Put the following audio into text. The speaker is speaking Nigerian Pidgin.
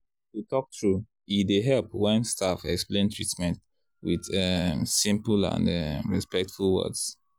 to talk true e dey help when staff explain treatment with um simple and um respectful words.